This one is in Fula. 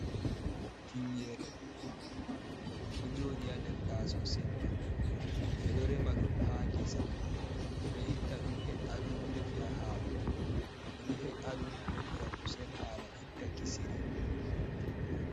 Tingere ɗuɗɗum, ɗo jodi haa nder taaso silva. Ɓe ɗo rema ɗum ha ngesa, ɓe ɗo itta ɗum he'a ɗum, defira haako. Ɓe ɗo he'a ɗum, defira kusel haala itta kisiri.